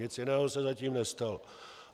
Nic jiného se zatím nestalo.